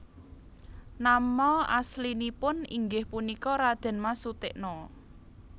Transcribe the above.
Nama aslinipun inggih punika Radén Mas Sutikna